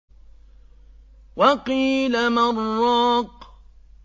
وَقِيلَ مَنْ ۜ رَاقٍ